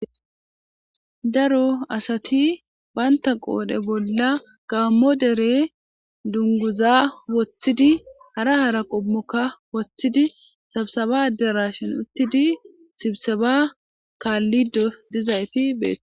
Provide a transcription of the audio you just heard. Daro asati bantta qodhe bolla gaammo dere dunguza wooththidi hara hara qoommokka woththidii sibiseba addarashshen uuttidii sibisebba kallido dizaytti betto